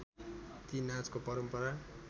ती नाचको परम्परा